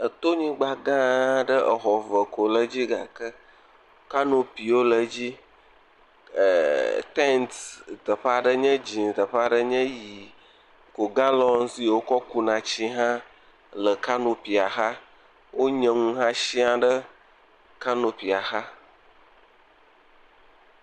Eto nyigbagã aɖe, exɔ eve koe le dzi gake, kanopiwo le edzi. Tent teƒea ɖe nye dzɛ, teƒeaɖe nyi ʋi. galɔn yike wokɔ ku na etsi hã le kanupia xɔ. Wonya nu hã sɛ̃a ɖe kanopia xa.